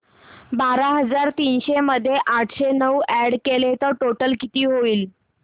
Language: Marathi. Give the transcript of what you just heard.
बारा हजार तीनशे मध्ये आठशे नऊ अॅड केले तर टोटल किती होईल